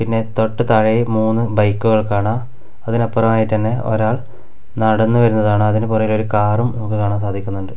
പിന്നെ തൊട്ട് താഴെയായി മൂന്ന് ബൈക്കുകൾ കാണാം അതിനപ്പുറം ആയിട്ട് തന്നെ ഒരാൾ നടന്നു വരുന്നതാണ് അതിനുപുറകിൽ ഒരു കാറും നമുക്ക് കാണാൻ സാധിക്കുന്നുണ്ട്.